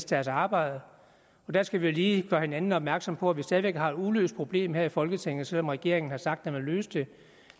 deres arbejde der skal vi lige gøre hinanden opmærksom på at vi stadig væk har et uløst problem her i folketinget selv om regeringen har sagt at den vil løse det